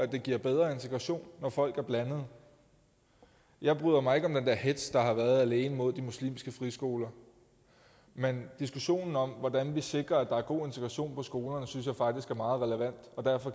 det giver bedre integration når folk er blandede jeg bryder mig ikke om den der hetz der har været alene mod de muslimske friskoler men diskussionen om hvordan vi sikrer at der er god integration på skolerne synes jeg faktisk er meget relevant og derfor